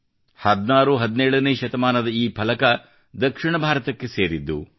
1617 ನೇ ಶತಮಾನದ ಈ ಫಲಕವು ದಕ್ಷಿಣ ಭಾರತಕ್ಕೆ ಸೇರಿದ್ದು